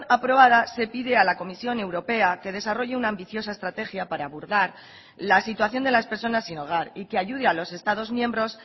aprobada se pide a la comisión europea que desarrolle una ambiciosa estrategia para abordar la situación de las personas sin hogar y que ayude a los estados miembros